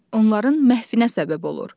Onların məhvinə səbəb olur.